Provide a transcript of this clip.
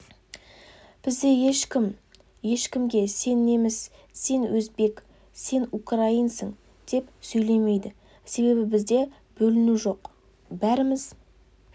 бізде ешкім ешкімге сен неміс сен өзбек сен украинсың деп сөйлемейді себебі бізде бөліну жоқ бәріміз